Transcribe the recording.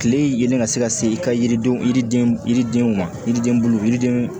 Kile yelen ka se ka se i ka yiridenw yiriden yiridenw ma yiriden bulu yiriden